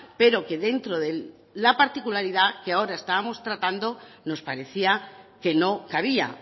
pero que dentro de la particularidad que ahora estamos tratando nos parecía que no cabía